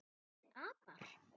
Þessir apar!